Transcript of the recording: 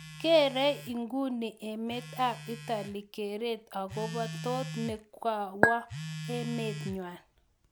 Kerei inguni emet ab Italy keret akobo toot nekawo emet nya